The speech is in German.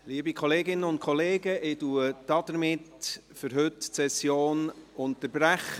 Liebe Kolleginnen und Kollegen, somit unterbreche ich die Session für heute.